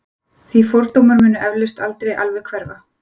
því fordómar munu eflaust aldrei alveg hverfa